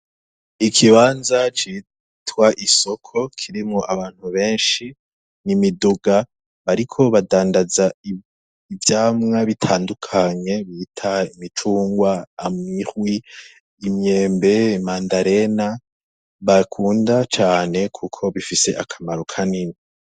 Ikibanza citwa isoko kirimwo abantu benshi n'imiduga, bariko badandaza ivyamwa bitandukanye bita imicungwa, imihwi, imyembe, mandarena, bakunda cane kuko bifise akamaro kanini.